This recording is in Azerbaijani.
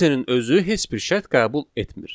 Else-nin özü heç bir şərt qəbul etmir.